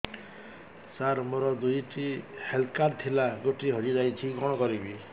ସାର ମୋର ଦୁଇ ଟି ହେଲ୍ଥ କାର୍ଡ ଥିଲା ଗୋଟେ ହଜିଯାଇଛି କଣ କରିବି